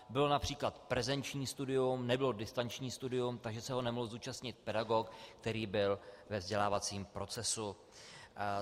Bylo například prezenční studium, nebylo distanční studium, takže se ho nemohl zúčastnit pedagog, který byl ve vzdělávacím procesu.